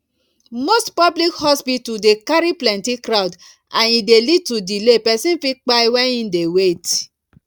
mosty public hospital dey carry plenty crowd and e dey lead to delay person fit kpai when im dey wait